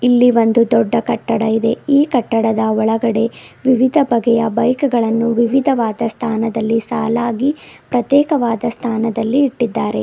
ಇಲ್ಲಿ ಒಂದು ದೊಡ್ಡ ಕಟ್ಟಡ ಇದೆ ಈ ಕಟ್ಟಡದ ಒಳಗಡೆ ವಿವಿಧ ಬಗೆಯ ಬೈಕ್ ಗಳನ್ನು ವಿವಿಧವಾದ ಸ್ಥಾನದಲ್ಲಿ ಸಾಲಾಗಿ ಪ್ರತ್ಯೇಕವಾದ ಸ್ಥಾನದಲ್ಲಿ ಇಟ್ಟಿದ್ದಾರೆ.